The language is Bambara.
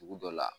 Dugu dɔ la